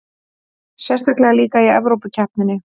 Sérstaklega líka í Evrópukeppninni.